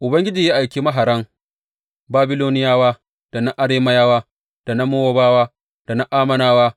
Ubangiji ya aiki maharan Babiloniyawa, da na Arameyawa, da na Mowabawa, da na Ammonawa.